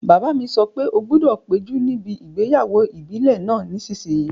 Bàbá mi sọ pé "O gbọdọ̀ péjú níbi ìgbéyàwó ìbílẹ̀ náà nísìsiyìí!"